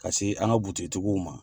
Ka se an ka buigiigiw ma.